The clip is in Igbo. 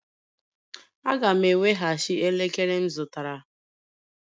Aga m eweghachi elekere m zụtara